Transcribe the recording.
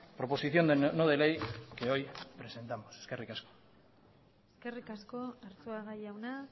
proposición no de ley que hoy presentamos eskerrik asko eskerrik asko arzuaga jauna